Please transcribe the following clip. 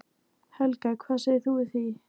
Helga: Hvað segir þú við því?